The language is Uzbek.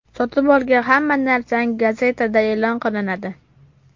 Sotib olgan hamma narsang gazetada e’lon qilinadi.